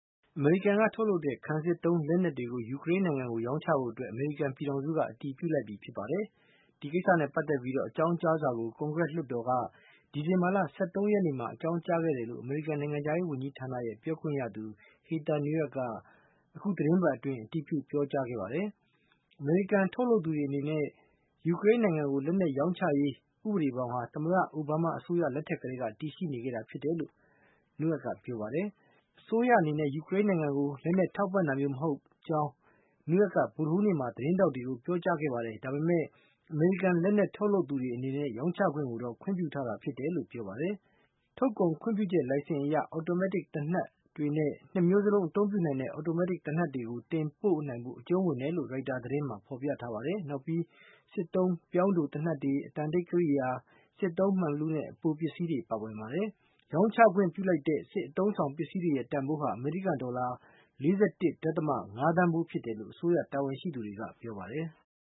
အမေရိကန်က ထုတ်လုပ်တဲ့ ခံစစ်သုံးလက်နက်တွေကို ယူကရိန်းနိုင်ငံကို ရောင်းချဖို့အတွက် အမေရိကန်ပြည်ထောင်စုက အတည်ပြုလိုက်ပြီဖြစ်ပါတယ်။ ဒီကိစ္စနဲ့ပတ်သက်ပြီး အကြောင်းကြားစာကို ကွန်ဂရက်လွှတ်တော်က ဒီဇင်ဘာလ ၁၃ ရက်နေ့မှာ အကြောင်းကြားခဲ့တယ်လို့ အမေရိကန်နိုင်ငံခြားရေးဝန်ကြီးဌာနရဲ့ ပြောခွင့်ရသူ Heather Nauert က အခုသတင်းပတ်အတွင်း အတည်ပြု ပြောကြားခဲ့ပါတယ်။ အမေရိကန် ထုတ်လုပ်သူတွေ အနေနဲ့ ယူကရိန်းနိုင်ငံကို လက်နက်ရောင်းချရေး ဥပဒေဘောင်ဟာ သမ္မတအိုဘားမား အစိုးရလက်ထက်ကတည်းက တည်ရှိနေခဲ့တာဖြစ်တယ်လို့ Nauert ကပြောပါတယ်။ အစိုးရအနေနဲ့ ယူကရိန်းနိုင်ငံကို လက်နက်ထောက်ပံ့တာမျိုးမဟုတ်ကြောင်း Nauert က ဗုဒ္ဓဟူးနေ့မှာ သတင်းထောက်တွေကို ပြောကြားခဲ့ပါတယ်။ဒါပေမဲ့ အမေရိကန် လက်နက်ထုတ်လုပ်သူတွေအနေနဲ့ ရောင်းချခွင့်ကိုတော့ ခွင့်ပြုထားတာဖြစ်တယ်လို့ ပြောပါတယ်။ ထုတ်ကုန်ခွင့်ပြုချက်လိုင်စဉ်အရ အော်တိုမက်တစ် သေနတ်တွေနဲ့ ၂ မျိုးစလုံး အသုံးပြုနိုင်တဲ့ အော်တိုမက်တစ်သေနတ်တွေကို တင်ပို့ဖို့ အကြုံးဝင်တယ်လို့Reuters သတင်းမှာ ဖေါ်ပြထားပါတယ်။နောက်ပြီး စစ်သုံးပြောင်းတိုသေနတ်တွေ၊ အသံတိတ်ကရိယာ၊ စစ်သုံးမှန်ဘီလူးနဲ့ အပိုပစ္စည်းတွေပါဝင်ပါတယ်။ ရောင်းချခွင့်ပြုလိုက်တဲ့ စစ်အသုံးဆောင်ပစ္စည်းတွေရဲ့ တန်ဖိုးဟာ အမေရိကန်ဒေါ်လာ ၄၁.၅ သန်းဖိုးဖြစ်တယ်လို့ အစိုးရတာဝန်ရှိသူတွေက ပြောပါတယ်။